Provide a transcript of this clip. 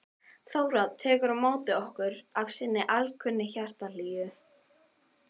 Þóra tekur á móti okkur af sinni alkunnu hjartahlýju.